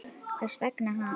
Hvers vegna hann?